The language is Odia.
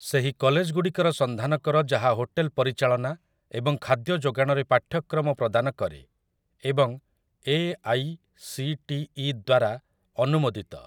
ସେହି କଲେଜଗୁଡ଼ିକର ସନ୍ଧାନ କର ଯାହା ହୋଟେଲ୍‌ ପରିଚାଳନା ଏବଂ ଖାଦ୍ୟ ଯୋଗାଣରେ ପାଠ୍ୟକ୍ରମ ପ୍ରଦାନ କରେ ଏବଂ A. I. C. T. E. ଦ୍ୱାରା ଅନୁମୋଦିତ ।